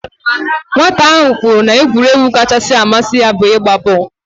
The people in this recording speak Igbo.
Nwata ahụ kwuru na egwuregwu kachasị amasi ya bu igba booolu